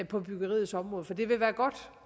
på byggeriets område for det vil være godt